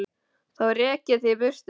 Þá rek ég þig í burtu